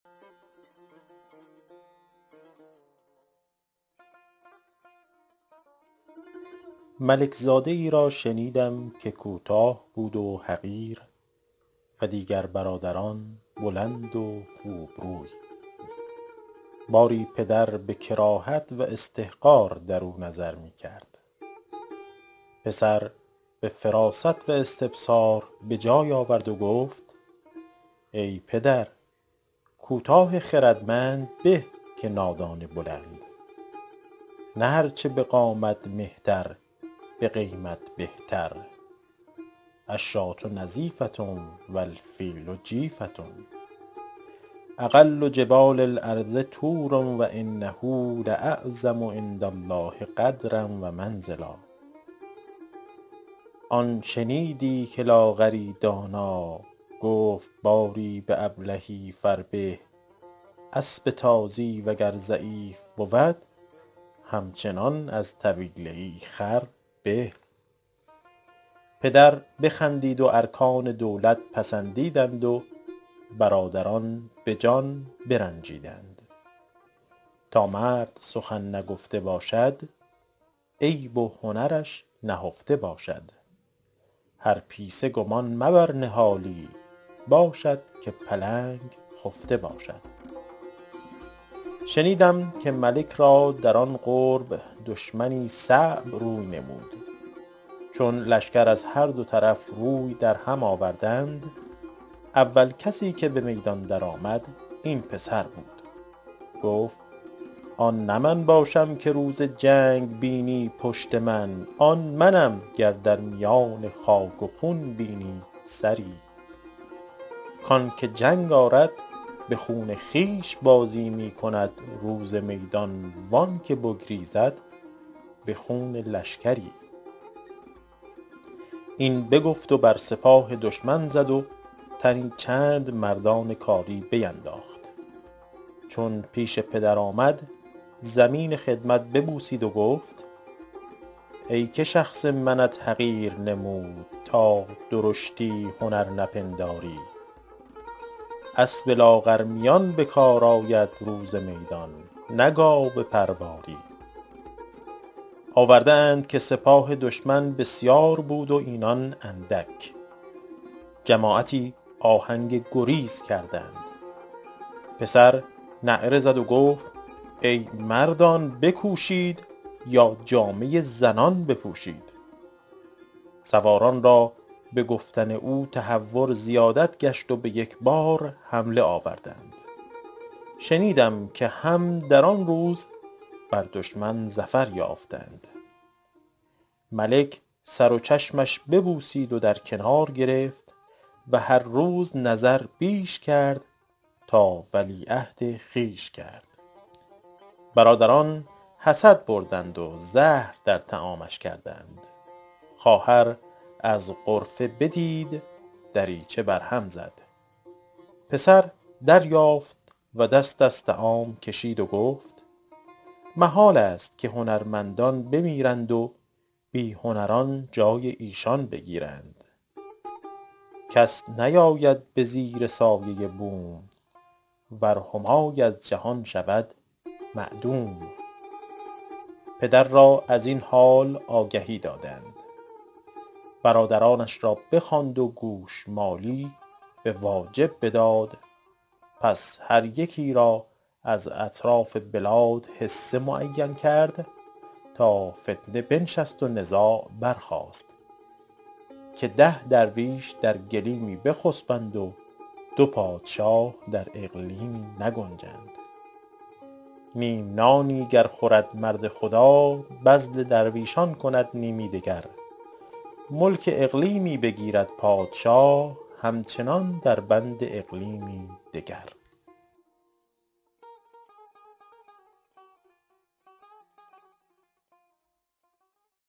ملک زاده ای را شنیدم که کوتاه بود و حقیر و دیگر برادران بلند و خوب روی باری پدر به کراهت و استحقار درو نظر می کرد پسر به فراست و استبصار به جای آورد و گفت ای پدر کوتاه خردمند به که نادان بلند نه هر چه به قامت مهتر به قیمت بهتر الشاة نظیفة و الفیل جیفة اقل جبال الارض طور و انه لاعظم عندالله قدرا و منزلا آن شنیدی که لاغری دانا گفت باری به ابلهی فربه اسب تازی وگر ضعیف بود همچنان از طویله ای خر به پدر بخندید و ارکان دولت پسندیدند و برادران به جان برنجیدند تا مرد سخن نگفته باشد عیب و هنرش نهفته باشد هر پیسه گمان مبر نهالی باشد که پلنگ خفته باشد شنیدم که ملک را در آن قرب دشمنی صعب روی نمود چون لشکر از هر دو طرف روی در هم آوردند اول کسی که به میدان در آمد این پسر بود گفت آن نه من باشم که روز جنگ بینی پشت من آن منم گر در میان خاک و خون بینی سری کانکه جنگ آرد به خون خویش بازی می کند روز میدان و آن که بگریزد به خون لشکری این بگفت و بر سپاه دشمن زد و تنی چند مردان کاری بینداخت چون پیش پدر آمد زمین خدمت ببوسید و گفت ای که شخص منت حقیر نمود تا درشتی هنر نپنداری اسب لاغرمیان به کار آید روز میدان نه گاو پرواری آورده اند که سپاه دشمن بسیار بود و اینان اندک جماعتی آهنگ گریز کردند پسر نعره زد و گفت ای مردان بکوشید یا جامه زنان بپوشید سواران را به گفتن او تهور زیادت گشت و به یک بار حمله آوردند شنیدم که هم در آن روز بر دشمن ظفر یافتند ملک سر و چشمش ببوسید و در کنار گرفت و هر روز نظر بیش کرد تا ولیعهد خویش کرد برادران حسد بردند و زهر در طعامش کردند خواهر از غرفه بدید دریچه بر هم زد پسر دریافت و دست از طعام کشید و گفت محالست که هنرمندان بمیرند و بی هنران جای ایشان بگیرند کس نیاید به زیر سایه بوم ور همای از جهان شود معدوم پدر را از این حال آگهی دادند برادرانش را بخواند و گوشمالی به واجب بداد پس هر یکی را از اطراف بلاد حصه معین کرد تا فتنه بنشست و نزاع برخاست که ده درویش در گلیمی بخسبند و دو پادشاه در اقلیمی نگنجند نیم نانی گر خورد مرد خدا بذل درویشان کند نیمی دگر ملک اقلیمی بگیرد پادشاه همچنان در بند اقلیمی دگر